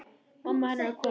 Mamma hennar komin.